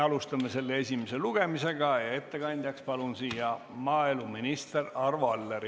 Alustame selle esimest lugemist ja ettekandjaks palun siia maaeluminister Arvo Alleri.